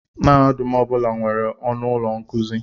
Mahadum ọ bụla nwere ọnụ ụlọ nkuzi.